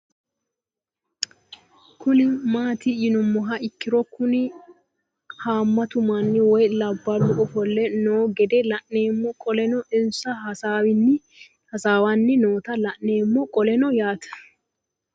Kuni mati yinumoha ikiro Kuni hamatu manni woyi labalu ofole noo gede la'nemo qoleno insa hasawani noota la'nemo qoleno yaate